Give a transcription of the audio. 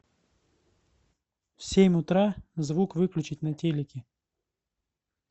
в семь утра звук выключить на телике